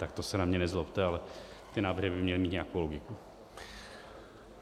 Tak to se na mě nezlobte, ale ty návrhy by měly mít nějakou logiku.